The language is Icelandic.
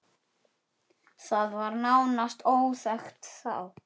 Það var nánast óþekkt þá.